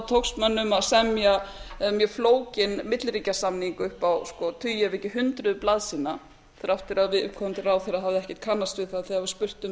tókst mönnum að semja mjög flókinn milliríkjasamning upp á tugi ef ekki hundruð blaðsíðna þrátt fyrir að viðkomandi ráðherra hafði ekkert kannast við það þegar var spurt um